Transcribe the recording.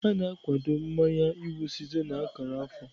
A na-akwado mmanye iwu site na akara afọ.